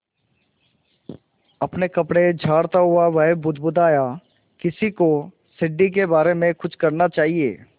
अपने कपड़े झाड़ता वह बुदबुदाया किसी को सीढ़ी के बारे में कुछ करना चाहिए